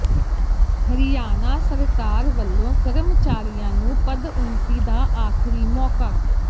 ਹਰਿਆਣਾ ਸਰਕਾਰ ਵੱਲੋਂ ਕਰਮਚਾਰੀਆਂ ਨੂੰ ਪਦਉੱਨਤੀ ਦਾ ਆਖ਼ਰੀ ਮੌਕਾ